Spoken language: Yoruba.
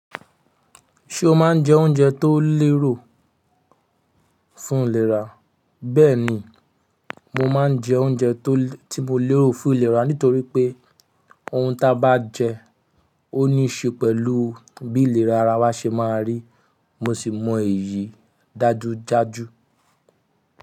Ṣé o máa ń jẹ oúnjẹ tó lérò fún ìlera? Bẹ́ẹ̀ni, mo máa ń jẹ oúnjẹ tó, tí mo lérò fún ìlera nítorí pé ohun ta bá jẹ ọ́ ní ṣe pẹ̀lú bí ìlera ara wa ṣe máa rí. Mo sì mọ èyí dájúdájú.